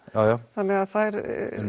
þannig að þær